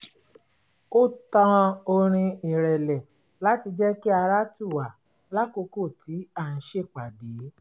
ó tan orin ìrẹ̀lẹ̀ láti jẹ́ kí ara tù wá lákòókò tí à ń ṣèpàdé